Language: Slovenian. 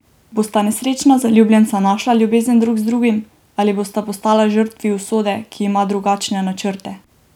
Bosta nesrečna zaljubljenca našla ljubezen drug z drugim ali bosta postala žrtvi usode, ki ima drugačne načrte?